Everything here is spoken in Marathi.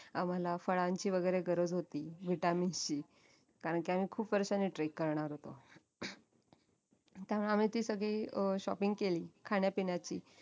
आम्हाला फळांची वैगेरे गरज होती vitamins ची कारणकी आम्ही खूप वर्षांनी trek करणार होतो त्यामुळे आम्ही ती सगळी अं shopping केली खाण्यापिण्याची